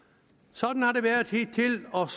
sådan har det været hidtil og